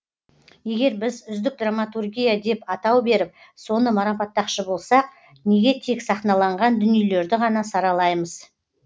егер біз үздік драматургия деп атау беріп соны марапаттақшы болсақ неге тек сахналанған дүниелерді ғана саралаймыз